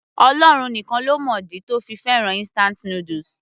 Ọlọ́run nìkan ló mọ ìdí tó fi fẹ́ràn instant noodles